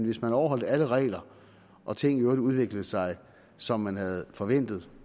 hvis man overholdt alle regler og ting i øvrigt udviklede sig som man havde forventet